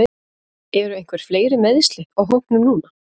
Eru einhver fleiri meiðsli á hópnum núna?